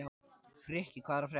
Frikki, hvað er að frétta?